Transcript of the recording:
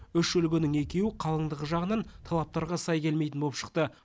үш үлгінің екеуі қалыңдығы жағынан талаптарға сай келмейтін боп шықты